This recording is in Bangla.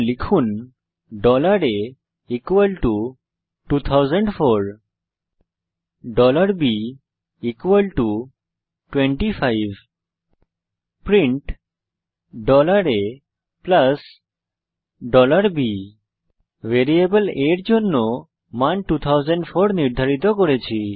লিখুন A 2004 b 25 print a b variable a এর জন্য মান 2004 নির্ধারিত করেছি